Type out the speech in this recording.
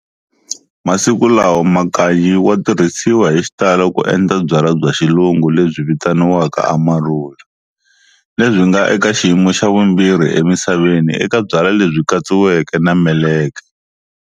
Masiku lawa, Makanyi wa tirhisiwa hixitalo ku endla byala bya xilungu lebyi vitiwaka Amarula, lebyi nga eka xiyimo xa vumbirhi e misaveni eka byala lebyi katsiweke na meleke.